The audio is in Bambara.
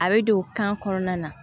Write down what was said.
A bɛ don kan kɔnɔna na